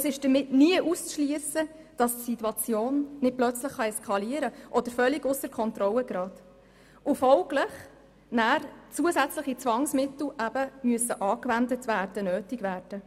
Es ist damit nie auszuschliessen, dass die Situation nicht plötzlich eskalieren oder völlig ausser Kontrolle geraten könnte und folglich zusätzliche Zwangsmittel nötig werden könnten.